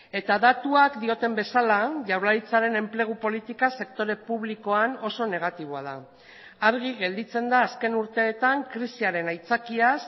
eta datuak dioten bezala jaurlaritzaren enplegu politika sektore publikoan oso negatiboa da argi gelditzen da azken urteetan krisiaren aitzakiaz